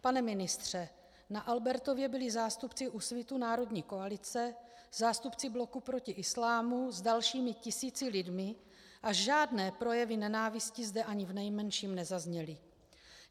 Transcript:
Pane ministře, na Albertově byli zástupci Úsvitu - národní koalice, zástupci Bloku proti islámu s dalšími tisíci lidmi a žádné projevy nenávisti zde ani v nejmenším nezazněly.